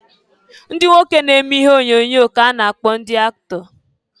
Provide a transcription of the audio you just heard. Ndị nwoke na-eme ihe onyoonyo ka-a na-akpọ ndị aktọ.